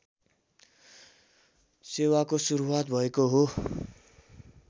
सेवाको सुरुवात भएको हो